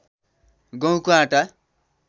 गहुँको आटा